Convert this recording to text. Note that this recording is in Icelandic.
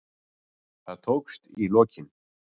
Það tókst í lokin.